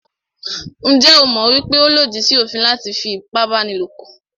Njẹ́ o mọ̀ wípé ó lòdì sí òfin láti fí ipábánilòpọ̀?